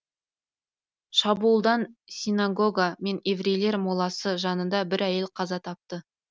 шабуылдан синагога мен еврейлер моласы жанында бір әйел қаза тапты